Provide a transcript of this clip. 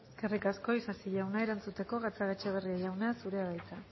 eskerrik asko isasi jauna erantzuteko gatzagaetxebarria jauna zurea da hitza